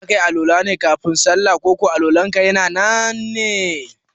zakayi Al-Wala ne kafin kayi sallah ko Al- walanka ya nan ne?